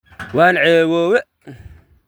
Wan ceebobe.